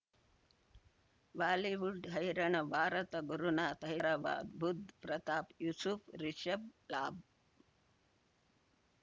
Bollywood ಹೈರಾಣ ಭಾರತ ಗುರುನಾಥ ಹೈದರಾಬಾದ್ ಬುಧ್ ಪ್ರತಾಪ್ ಯೂಸುಫ್ ರಿಷಬ್ ಲಾಬ್